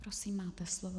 Prosím, máte slovo.